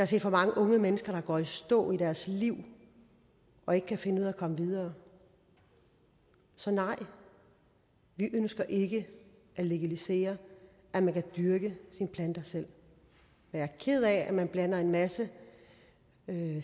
set for mange unge mennesker der går i stå i deres liv og ikke kan finde ud af at komme videre så nej vi ønsker ikke at legalisere at man kan dyrke sine planter selv jeg er ked af at man blander en masse